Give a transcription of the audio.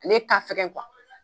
Ale ka fɛgɛn kuwa